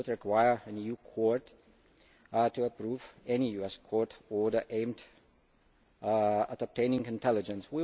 This would require an EU court to approve any US court order aimed at obtaining intelligence.